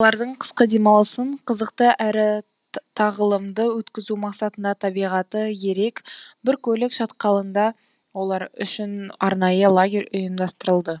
бұлардың қысқы демалысын қызықты әрі тағылымды өткізу мақсатында табиғаты ерек біркөлік шатқалында олар үшін арнайы лагерь ұйымдастырылды